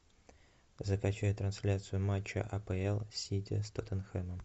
закачай трансляцию матча апл сити с тоттенхэмом